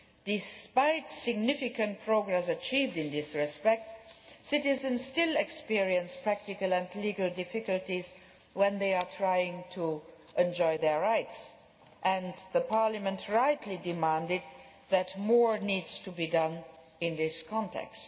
Despite significant progress achieved in this respect, citizens still experience practical and legal difficulties when trying to enjoy their rights and Parliament rightly demanded that more needs to be done in this context.